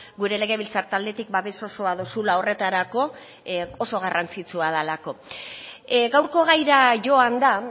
gure legebiltzar taldetik babes osoa duzula horretarako oso garrantzitsua delako gaurko gaira joanda